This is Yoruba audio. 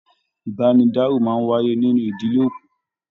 Ibanidaro máa n wáyé nínú ìdílé òkú.